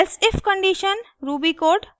elsif condition ruby code